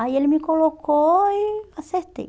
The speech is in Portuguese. Aí ele me colocou e acertei.